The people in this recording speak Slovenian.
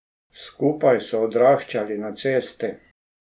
Skupaj so odraščali na cesti.